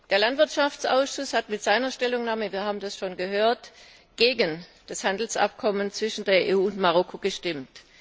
Der Landwirtschaftsausschuss hat mit seiner Stellungnahme wir haben das schon gehört gegen das Handelsabkommen zwischen der EU und Marokko gestimmt.